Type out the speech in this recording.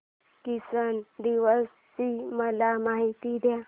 किसान दिवस ची मला माहिती दे